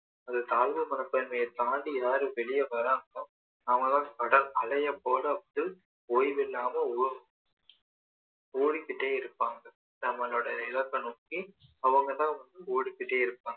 அந்த தாழ்வு மனப்பானைய தாண்டி யாரு வெளிய வராங்களோ அவங்க தான் வந்து கடல் அலைய போல வந்து ஓய்வு இல்லாம அவங்க ஓடிகிட்டே இருப்பாங்க நம்மளுடைய இழக்க நோக்கி அவங்க தான் ஓடிகிட்டே இருப்பாங்க